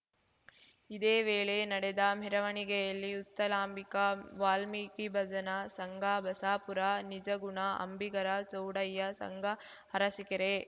ಇದೇ ವೇಳೆ ನಡೆದ ಮೆರವಣಿಗೆಯಲ್ಲಿ ಉಸ್ತಲಾಂಬಿಕ ವಾಲ್ಮೀಕಿ ಭಜನಾ ಸಂಘ ಬಸಾಪುರ ನಿಜಗುಣ ಅಂಬಿಗರ ಚೌಡಯ್ಯ ಸಂಘ ಅರಸೀಕೆರೆ